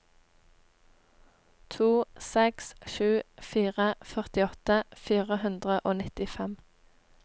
to seks sju fire førtiåtte fire hundre og nittifem